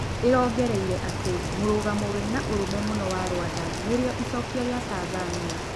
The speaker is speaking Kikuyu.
ĩrongereire atĩ mũrũgamo wĩna ũrũme mũno wa Rwanda nĩrĩo icokio rĩa Tanzania.